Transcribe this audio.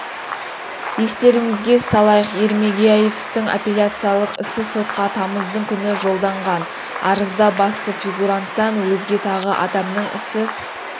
естеріңізге салайық ермегияевтің аппеляциялық ісі сотқа тамыздың күні жолданған арызда басты фигугуранттан өзге тағы адамның ісі